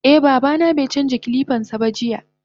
Eh babana baicanja kilipansaba jiya.